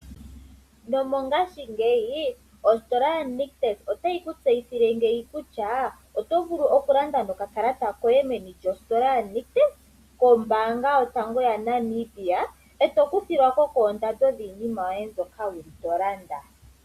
Nomongaashingeyi ositola yaNictus ota yi kutseyithile ngeyi kutya oto vulu okulanda nokakalata koye meni lyosikola yaNictus kombanga yotango yopashigwana e to kuthilwako kondando yiinima yoye mbyoka wuli to landa.